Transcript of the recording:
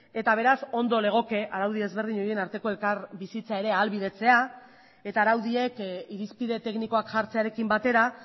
eta beraz ondo legoke araudi ezberdin horien arteko elkarbizitza ere ahalbidetzea eta araudiek irizpide teknikoak jartzearekin batera